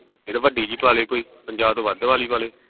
ਤੇ ਵੱਡੀ ਜੀ ਪਾਲੇ ਕੋਈ ਪੰਜਾਹ ਤੋਂ ਵੱਧ ਵਾਲੀ ਪਾ ਲੇ